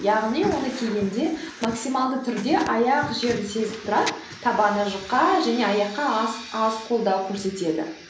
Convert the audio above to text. яғни оны кигенде максималды түрде аяқ жерді сезіп тұрады табаны жұқа және аяққа аз қолдау көрсетеді